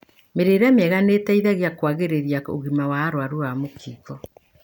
Mĩrĩire mĩega nĩ ĩteithagia kũagĩria ũgima wa arwaru a mũkingo.